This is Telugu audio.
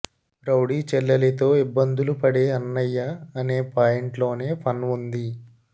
రౌడీ చెల్లెలితో ఇబ్బందులు పడే అన్నయ్య అనే పాయింట్లోనే ఫన్ ఉంది